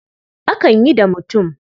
Akan yi da mutum.